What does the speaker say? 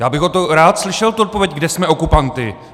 Já bych rád slyšel tu odpověď, kde jsme okupanty.